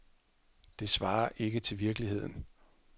Det svarer ikke til virkeligheden.